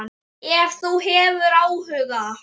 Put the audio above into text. Ef þú hefur áhuga.